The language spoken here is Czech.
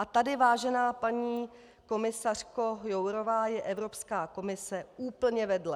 A tady, vážená paní komisařko Jourová, je Evropská komise úplně vedle.